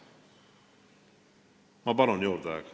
Ma palun aega juurde!